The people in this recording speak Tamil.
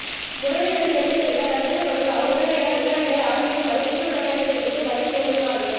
முரளிதரன் தெரிவித்திருந்த கருத்துக்கள் தொடர்பாக உடனடியாக விசாரணைகளை ஆரம்பிக்குமாறு குற்றப்புலனாய்வு பிரிவுக்கு பதில் பொலிஸ்மா அதிபர்